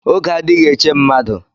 Oge adighi eche mmadu